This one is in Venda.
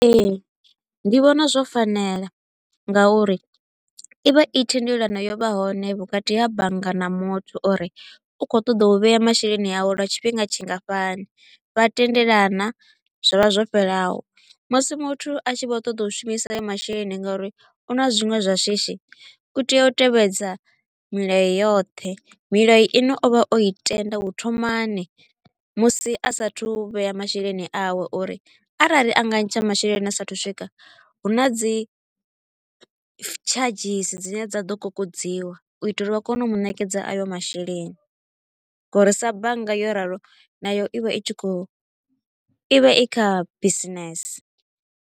Ee, ndi vhona zwo fanela nga uri i vha i thendelano yo vhaho hone vhukati ha bannga na muthu uri u kho u ṱoḓa u vhea masheleni awe lwa tshifhinga tshingafhani. Vha tendelana zwa vha zwo fhelelaho, musi muthu a tshi kho u ṱoḓa u shumisa masheleni nga uri u na zwiṅwe zwa shishi, u tea u tevhedza milayo yoṱhe. Milayo i ne o i tenda u thomani musi a sa a thu u vhea masheleni awe uri arali a nga ntsha masheleni a sa a thu swika, hu na dzi charges dzine dza ḓo kokodziwa u itela uri vha kone u mu ṋekedza ayo masheleni nga uri sa bannga yo ralo nayo i vha i tshi kho u i vha i kha business.